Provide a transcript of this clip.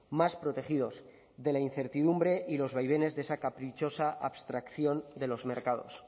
más protegidos de la incertidumbre y de los vaivenes de esa caprichosa abstracción de los mercados